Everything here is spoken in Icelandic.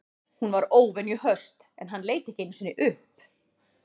Hún var óvenju höst en hann leit ekki einu sinni upp.